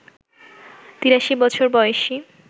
৮৩ বছর বয়সী